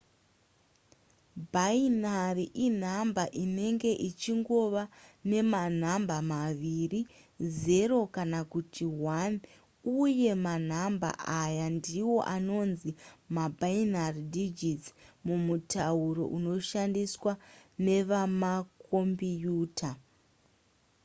bhainari inhamba inenge ichingova nemanhamba maviri 0 kana kuti 1 uye manhamba aya ndiwo anonzi mabinary digits mumutauro unoshandiswa nevemakombiyuta